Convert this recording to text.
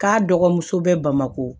K'a dɔgɔmuso bɛ bamako